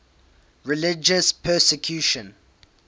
religious persecution